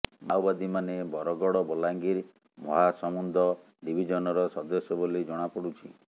ମାଓବାଦୀମାନେ ବରଗଡ ବଲାଙ୍ଗୀର ମହାସମୁନ୍ଦ ଡିଭିଜନର ସଦସ୍ୟ ବୋଲି ଜଣାପଡୁଛି